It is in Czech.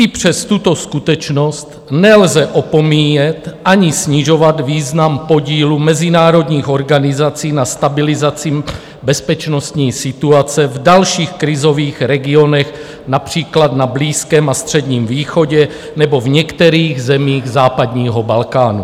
I přes tuto skutečnost nelze opomíjet ani snižovat význam podílu mezinárodních organizací na stabilizaci bezpečnostní situace v dalších krizových regionech, například na Blízkém a Středním východě nebo v některých zemích západního Balkánu.